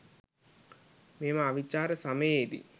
මෙම අවිචාර සමයේ දී